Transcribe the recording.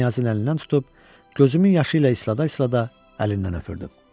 Knyazın əlindən tutub, gözümün yaşı ilə islaya-islaya əlindən öpürdüm.